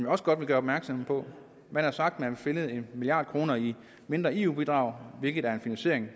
også godt vil gøre opmærksom på man har sagt at man vil finde en milliard kroner i mindre eu bidrag hvilket er en finansiering